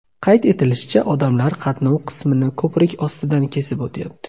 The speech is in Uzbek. Qayd etilishicha, odamlar qatnov qismini ko‘prik ostidan kesib o‘tyapti.